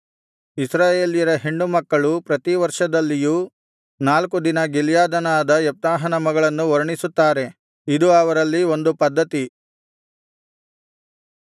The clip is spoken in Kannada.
ಇಸ್ರಾಯೇಲ್ಯರ ಹೆಣ್ಣುಮಕ್ಕಳು ಪ್ರತಿವರ್ಷದಲ್ಲಿಯೂ ನಾಲ್ಕು ದಿನ ಗಿಲ್ಯಾದ್ಯನಾದ ಯೆಪ್ತಾಹನ ಮಗಳನ್ನು ವರ್ಣಿಸುತ್ತಾರೆ ಇದು ಅವರಲ್ಲಿ ಒಂದು ಪದ್ಧತಿ